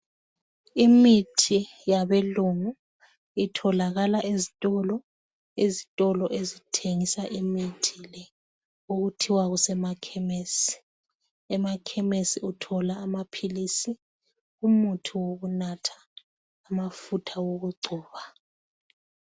Imithi yabelungu itholakala ezitolo, ezitolo ezithengisa imithi le okuthiwa kusemakhemesi emakhemesi uthola amaphilisi, umuthi wokunatha, amafutha okugcoba.